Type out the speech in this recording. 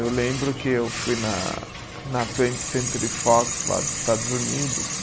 Eu lembro que eu fui na na Twenty Century Fox lá dos Estados Unidos.